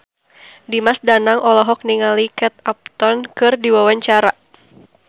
Dimas Danang olohok ningali Kate Upton keur diwawancara